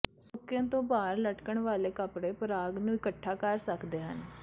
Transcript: ਸੁੱਕੇ ਤੋਂ ਬਾਹਰ ਲਟਕਣ ਵਾਲੇ ਕਪੜੇ ਪਰਾਗ ਨੂੰ ਇਕੱਠਾ ਕਰ ਸਕਦੇ ਹਨ